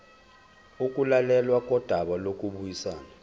ukulalelwa kodaba lokubuyisana